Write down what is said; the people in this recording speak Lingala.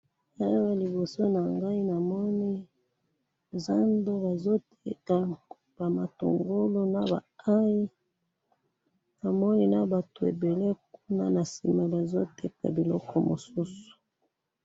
Awa liboso nangayi namoni, zando bazoteka bamatungulu naba aye, namoni nabatu ebele kuna na sima bazoteka biloko mususu